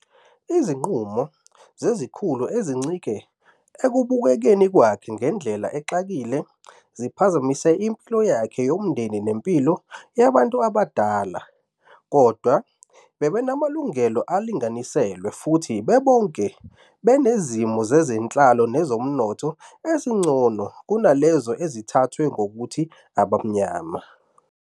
Izinqumo zezikhulu ezincike ekubukekeni kwakhe ngendlela exakile ziphazamise impilo yakhe yomndeni nempilo yabantu abadala. Kodwa, babenamalungelo alinganiselwe futhi bebonke benezimo zezenhlalo nezomnotho ezingcono kunalezo ezithathwa ngokuthi "Abamnyama".